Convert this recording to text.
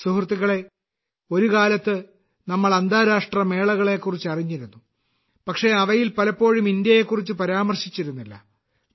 സുഹൃത്തുക്കളേ ഒരു കാലത്ത് നമ്മൾ അന്താരാഷ്ട്ര മേളകളെകുറിച്ച് അറിഞ്ഞിരുന്നു പക്ഷേ അവയിൽ പലപ്പോഴും ഇന്ത്യയെക്കുറിച്ച് പരാമർശിച്ചിരുന്നില്ല